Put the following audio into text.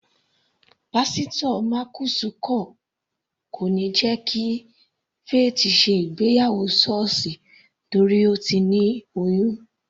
Pásítò Marcus kò níí jẹ́ kí Faith ṣe ìgbéyàwó sọ́ọ̀sì torí Ó ti ní oyún.